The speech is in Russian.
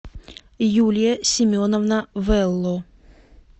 юлия семеновна вэлло